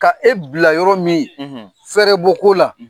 Ka e bila yɔrɔ min , fɛrɛbɔ ko la